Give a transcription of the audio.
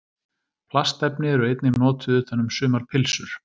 Plastefni eru einnig notuð utan um sumar pylsur.